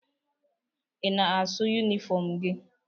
Ị na-asụ yunifọm gị?